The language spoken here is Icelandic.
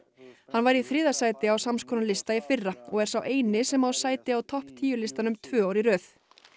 hann var í þriðja sæti á sams konar lista í fyrra og er sá eini sem á sæti á topp tíu listanum tvö ár í röð